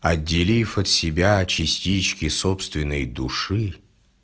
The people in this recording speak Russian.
отделив от себя частички собственной души